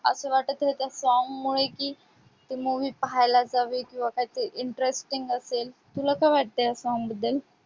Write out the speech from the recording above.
असं वाटत आहे ते song मुळे की तो movie पाहायला जाऊया किंवा काय ते interesting असेल. तुला काय वाटतंय या song बद्दल?